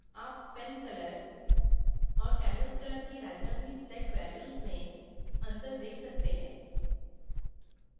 आप pen color और canvas color की randomly set values में अंतर देख सकते हैं